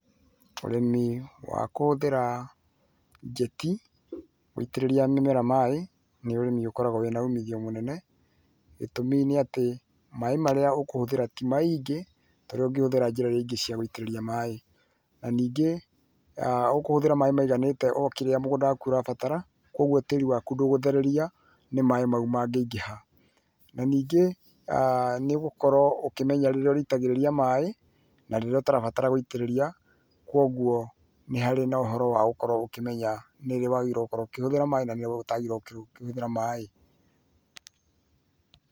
Ũrĩmi wa kũhũthĩra njeti gũitĩrĩria mĩmera maĩ, nĩ ũrĩmi ũkoragũo wĩ na umithio mũnene, gĩtũmi nĩ atĩ, maĩ marĩa ũkũhũthĩra ti maingĩ, ta arĩa ũngĩhũthĩra njĩra rĩngĩ cia gũitĩrĩria maĩ. Na ningĩ, ũkũhũthĩra maĩ maiganĩte o kĩrĩa mũgũnda waku ũrabatara, kwoguo tĩĩri waku ndũkũthereria nĩ maĩ mau mangĩingĩha. Na ningĩ, nĩ gũkorũo ũkĩmenya rĩrĩa ,ũrĩitagĩrĩria maĩ, na rĩrĩa ũtarabatara gũitĩrĩria, kwoguo nĩ harĩ na ũhoro wa gũkorũo ũkĩmenya nĩ rĩ wagĩrĩirũo gũkorũo ũkĩhũthĩra maĩ na nĩ rĩ ũtagĩrĩrũo gũkorũo ũkĩhũthĩra maĩ.